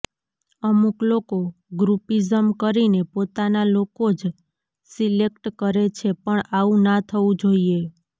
અમુક લોકો ગ્રૂપીઝમ કરીને પોતાના લોકો જ સિલેક્ટ કરે છે પણ આવું ના થવું જોઈએ